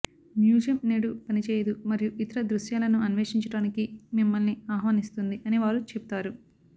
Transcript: museum నేడు పనిచేయదు మరియు ఇతర దృశ్యాలను అన్వేషించడానికి మిమ్మల్ని ఆహ్వానిస్తుంది అని వారు చెబుతారు